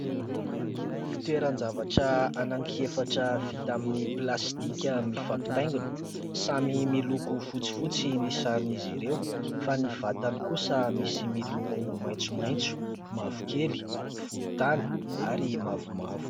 Fitoeran-javatra anany efatra vita amin'ny plastika mifampitaingina. Samy miloko fotsifotsy ny saron'izy ireo fa ny vatany kosa misy miloko maitsomaitso, mavokely, volontany ary mavomavo.